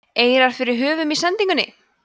eirar fyrir höfum í sendingunni